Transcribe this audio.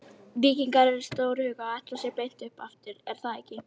Víkingar eru stórhuga og ætla sér beint upp aftur er það ekki?